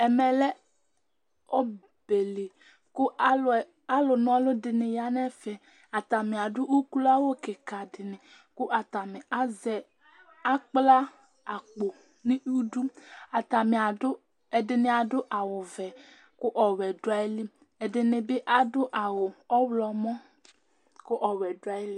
Ɛmɛlɛ ɔbɛli kʋ alu na ɔlu dìní ya nʋ ɛfɛ Atani adu ʋklo awu kìka di ni kʋ atani azɛ, akpla akpo nʋ idu Atani adu, ɛdiní adu vɛ kʋ ɔwɛ du ayìlí Ɛdiní bi adu awu ɔwlɔmɔ kʋ ɔwɛ du ayìlí